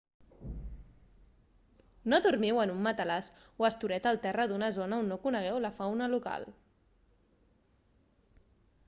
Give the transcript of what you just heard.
no dormiu en un matalàs o estoreta al terra d'una zona on no conegueu la fauna local